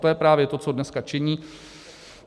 To je právě to, co dneska činí.